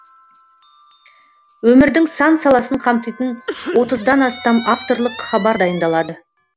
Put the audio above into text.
өмірдің сан саласын қамтитын отыздан астам авторлық хабар дайындалады